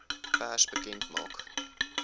pers bekend maak